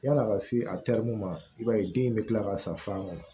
Yan'a ka se a terimuw ma i b'a ye den in bɛ kila ka san fan kɔnɔ